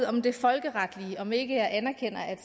om det folkeretlige og om ikke jeg anerkender at